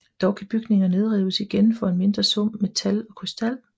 Dog kan bygninger nedrives igen for en mindre sum metal og krystal